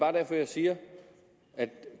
er derfor jeg siger at